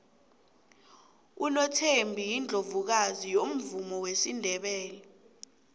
unothembi yiundlovukazi yomvumo wesindebele